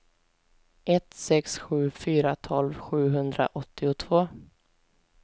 ett sex sju fyra tolv sjuhundraåttiotvå